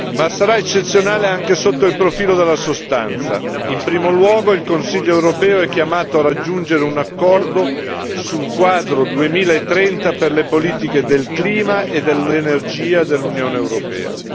Ma sarà eccezionale anche sotto il profilo della sostanza in primo luogo il Consiglio europeo è chiamato a raggiungere un accordo sul quadro 2030 per le politiche del clima e dell'energia dell'Unione europea.